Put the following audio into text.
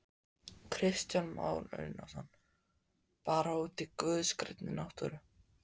Kristján Már Unnarsson: Bara úti í guðs grænni náttúru?